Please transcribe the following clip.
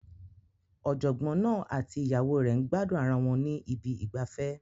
Ọ̀jọ̀gbọ́n náà àti ìyàwó rẹ̀ ń gbádùn ara wọn ní ibi ìgbafẹ́.